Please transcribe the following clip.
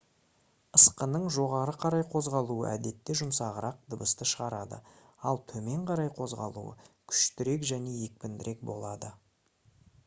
ысқының жоғары қарай қозғалуы әдетте жұмсағырақ дыбысты шығарады ал төмен қарай қозғалуы күштірек және екпіндірек болады